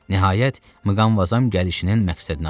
Nəhayət, Muqamvazam gəlişinin məqsədini açdı.